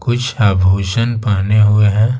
कुछ आभूषण पाहने हुए हैं।